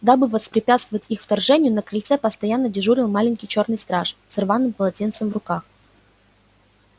дабы воспрепятствовать их вторжению на крыльце постоянно дежурил маленький чёрный страж с рваным полотенцем в руках